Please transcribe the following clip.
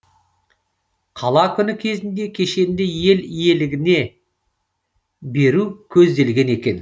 қала күні кезінде кешенді ел игілігіне беру көзделген екен